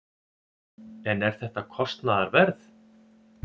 En er þetta kostnaðarverð?